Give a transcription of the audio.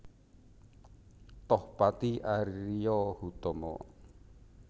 Tohpati Ario Hutomo